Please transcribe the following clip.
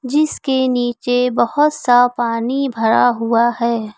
जिसके नीचे बहुत सा पानी भरा हुआ है।